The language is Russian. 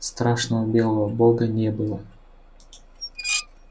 страшного белого бога не было